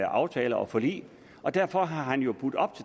aftaler og forlig og derfor har han jo budt op